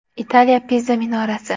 Italiya Piza minorasi.